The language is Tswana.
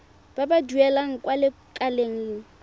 ba ba duelang kwa lekaleng